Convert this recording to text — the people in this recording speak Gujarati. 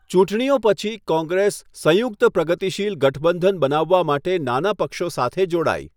ચૂંટણીઓ પછી, કોંગ્રેસ સંયુક્ત પ્રગતિશીલ ગઠબંધન બનાવવા માટે નાના પક્ષો સાથે જોડાઈ.